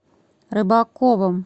рыбаковым